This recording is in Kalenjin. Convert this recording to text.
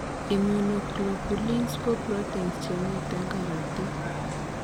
Immunoglobulins ko proteins chemiten karatik